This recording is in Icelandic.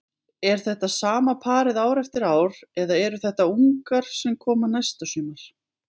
Er þetta sama parið ár eftir ár eða eru þetta ungar sem koma næsta sumar?